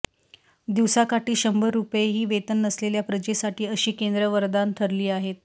दिवसाकाठी शंभर रुपयेही वेतन नसलेल्या प्रजेसाठी अशी केंद्रं वरदान ठरली आहेत